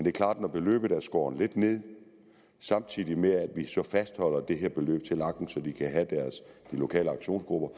er klart at når beløbet er skåret lidt ned samtidig med at vi så fastholder det her beløb til lagen så de lokale aktionsgrupper